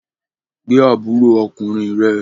Gbé àbúrò ọkùnrin rẹ